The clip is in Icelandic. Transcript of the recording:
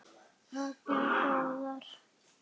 Allar góðar.